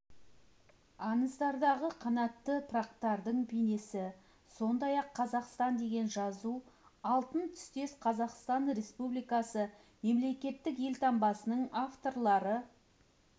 аңыздардағы қанатты пырақтардың бейнесі сондай-ақ қазақстан деген жазу алтын түстес қазақстан республикасы мемлекеттік елтаңбасының авторлары